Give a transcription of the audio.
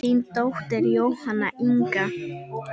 Þín dóttir Jóhanna Inga.